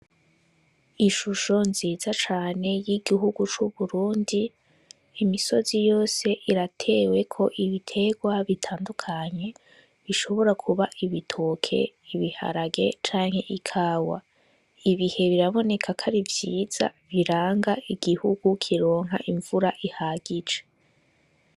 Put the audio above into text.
Ishusho nziza cane y'igihugu c'Uburundi, imisozi yose irateweko ibiterwa bitandukanye, bishobora kuba ibitoke ;ibiharage canke ikawa ibihe biraboneka ko ari vyiza biranga igihugu kironka imvura ihagije.